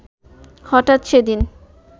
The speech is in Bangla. হঠাৎ সেদিন